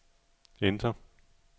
enter